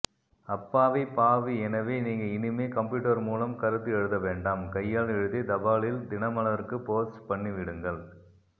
அப்பாவி பாவி எனவே நீங்க இனிமே கம்பியூட்டர் மூலம் கருத்து எழுதவேண்டாம் கையால் எழுதி தபாலில் தினமலருக்கு போஸ்ட் பண்ணிவிடுங்கள்